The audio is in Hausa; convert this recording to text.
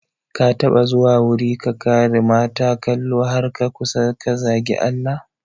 Ka taɓa zuwa wuri ka kare mata kalo har ka kusa ka zagi Allah?